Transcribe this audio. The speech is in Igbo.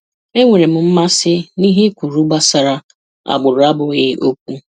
Enwere m mmasị n'ihe ị kwuru gbasara agbụrụ abụghị okwu.